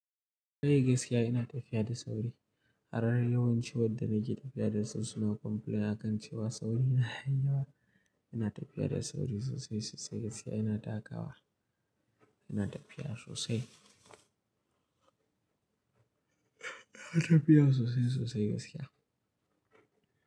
Kai gaskiya ina tafiya da sauri. Har yawanci wadda nake tafiya da su suna complain akan cewa saurina yayi yawa Ina tafiya da sauri sosai sosai gaskiya ina taka wa. Ina tafiya sosai. Ina tafiya sosai sosai gaskiya.